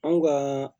Anw ka